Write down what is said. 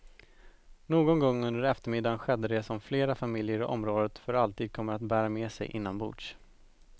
Någon gång under eftermiddagen skedde det som flera familjer i området för alltid kommer att bära med sig inombords.